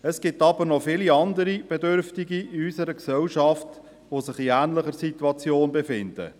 Es gibt jedoch viele andere Bedürftige in unserer Gesellschaft, die sich in einer ähnlichen Situation befinden.